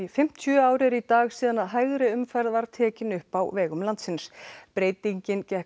fimmtíu ár eru í dag síðan hægri umferð var tekin upp á vegum landsins breytingin gekk